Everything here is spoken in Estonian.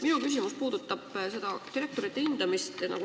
Minu küsimus puudutab seda direktorite hindamist.